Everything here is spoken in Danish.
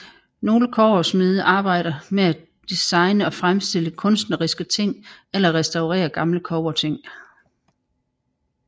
Nogle kobbersmede arbejder med at designe og fremstille kunstneriske ting eller restaurere gamle kobberting